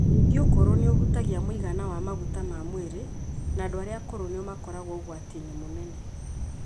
Ningĩ ũkũrũ nĩ ũhutagia mũigana wa maguta ma mwĩrĩ, na andũ arĩa akũrũ nĩo makoragwo ũgwati-inĩ mũnene.